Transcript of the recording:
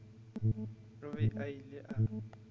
o be a ile a